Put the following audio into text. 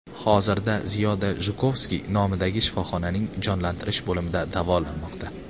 Hozirda Ziyoda Jukovskiy nomidagi shifoxonaning jonlantirish bo‘limida davolanmoqda.